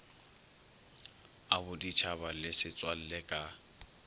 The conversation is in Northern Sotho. a boditšhaba le setswalle ka